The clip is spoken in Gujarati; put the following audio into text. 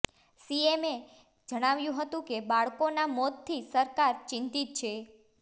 સીએમએ જણાવ્યું હતું કે બાળકોનાં મોતથી સરકાર ચિંતિત છે